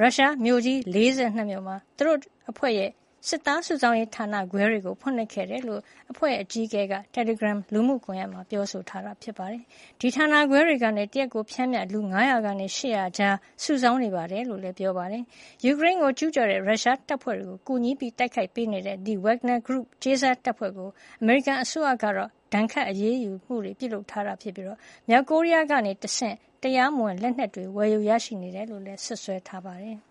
ရုရှားမြို့ကြီး ၄၂ မြို့မှာ သူတို့အဖွဲရဲ့ စစ်သားစုဆောင်းရေးဌာနခွဲတွေ ဖွင့်လှစ်ခဲ့တယ်လို့ အဖွဲ့ရဲ့အကြီးအကဲက တယ်လီဂရမ်လူမှုကွန်ယက်မှာ ပြောထားပါတယ်။ ဒီဌာနခွဲတွေကနေ တရက်ကို ပျမ်းမျှ လူ ၅၀၀ ကနေ ၈၀၀ အကြားစုဆောင်းနေတယ်လို့လည်း ပြောဆိုပါတယ်။ ယူကရိန်းကိုကျူးကျော်တဲ့ ရုရှားတပ်ဖွဲ့တွေကို ကူညီတိုက်ခိုက်ပေးနေတဲ့ ဒီ Wagner Group ကြေးစားတပ်ဖွဲ့ကို အမေရိကန်အစိုးရကတော့ ဒဏ်ခတ် အရေးယူမှုတွေပြုလုပ်ထားပြီး မြောက်ကိုရီးယားကနေ တရားမဝင်လက်နက်တွေ ဝယ်ယူရရှိနေတယ်လို့ စွပ်စွဲထားပါတယ်။